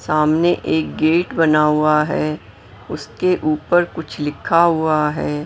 सामने एक गेट बना हुआ है उसके ऊपर कुछ लिखा हुआ है।